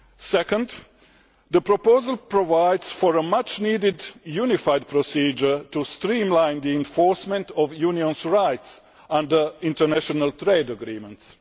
Secondly, the proposal provides for a much needed unified procedure to streamline the enforcement of unions' rights under international trade agreements.